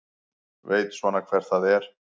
Veit svona hver það er.